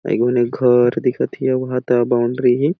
एगोनी घर दिखा थे अऊ एहा तो बॉउन्ड्री है ।